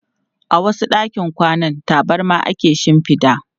A wasu ɗakin kwanan, tabarma ake shinfida.